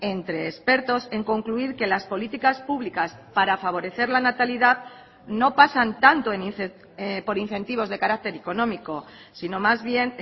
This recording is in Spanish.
entre expertos en concluir que las políticas públicas para favorecer la natalidad no pasan tanto por incentivos de carácter económico sino más bien